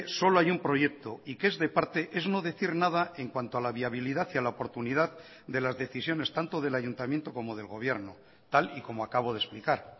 solo hay un proyecto y que es de parte es no decir nada en cuanto a la viabilidad y a la oportunidad de las decisiones tanto del ayuntamiento como del gobierno tal y como acabo de explicar